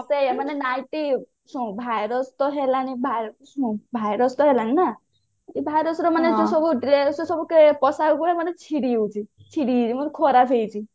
ସେଇଆ ମାନେ nightly ଶୁଣୁ virus ତ ହେଲାଣି ଶୁଣୁ virus ତ ହେଲାଣି ନା ଏଇ virus ରେ ମାନେ dress ସବୁ ପୋଷାକ ଗୁରା ମାନେ ଛିଡିଯାଇଛି ମାନେ ଖରବ ହେଇ ହେଇଛି